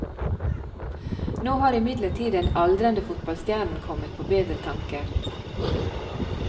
Nå har imidlertid den aldrende fotballstjernen kommet på bedre tanker.